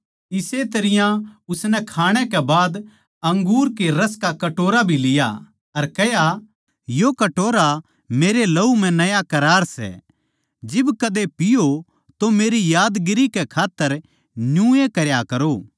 इसे तरियां उसनै खाणे कै बाद अंगूर के रस का कटोरा भी लिया अर कह्या यो कटोरा मेरे लहू म्ह नया करार सै जिब कद्दे पीओ तो मेरी यादगारी कै खात्तर न्यूए करया करो